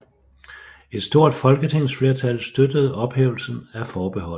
Et stort folketingsflertal støttede ophævelse af forbeholdet